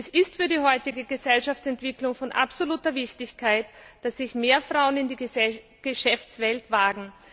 Es ist für die heutige Gesellschaftsentwicklung von absoluter Wichtigkeit, dass sich mehr Frauen in die Geschäftswelt wagen.